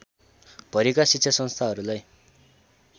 भरिका शिक्षासंस्थाहरूलाई